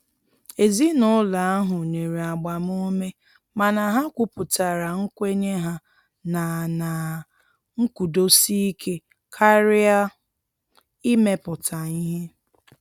Ezinụlọ ahụ nyere agbamume mana ha kwuputara nkwenye ha na na nkwụdosike karịa imepụta ihe.